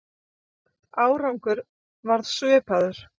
Árangur varð svipaður.